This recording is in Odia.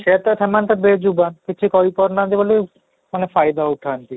ସେଇୟା ତ ସେମାନେ ତ ବେଯୁବାନ କିଛି କହି ପାରୁ ନାହାନ୍ତି ବୋଲି ମାନେ ଫାଇଦା ଉଠାନ୍ତି